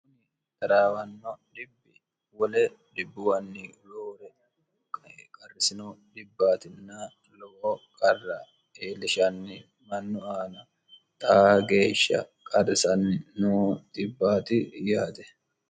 uni daraawanno wo dbbuwnn loore qarrisino dbbtn low qarra eellishanni mannu aana taa geeshsha qarrisanni no xibbti yaate